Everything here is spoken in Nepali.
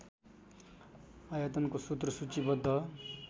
आयतनको सूत्र सूचीबद्ध